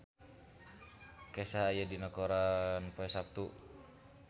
Kesha aya dina koran poe Saptu